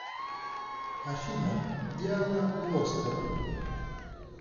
афина диана глостер